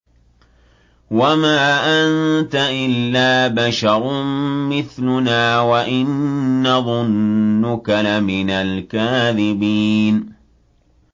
وَمَا أَنتَ إِلَّا بَشَرٌ مِّثْلُنَا وَإِن نَّظُنُّكَ لَمِنَ الْكَاذِبِينَ